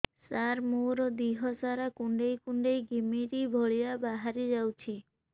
ସାର ମୋର ଦିହ ସାରା କୁଣ୍ଡେଇ କୁଣ୍ଡେଇ ଘିମିରି ଭଳିଆ ବାହାରି ଯାଉଛି